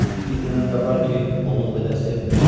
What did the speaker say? Bir nənəm də var ki, onu o qədər sevmirəm.